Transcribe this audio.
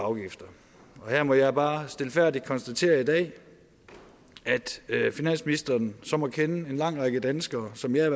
og afgifter og her må jeg bare stilfærdigt konstatere i dag at finansministeren så må kende en lang række danskere som jeg